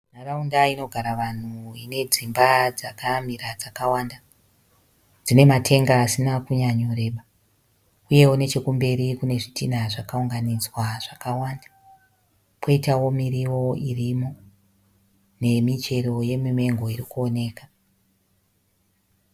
Nharaunda inogara vanhu uye ine dzimba dzakamira dzakwanda dzine matenga asina kunyanyo kureba nechekumberi kune zvitinha zvakaunga nidzwa zvakawanda. Koitawo miriwo irimo nemi chero yeMango iri kuoneka.